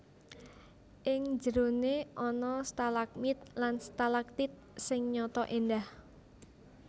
Ing njeroné ana stalagmit lan stalagtit sing nyata éndah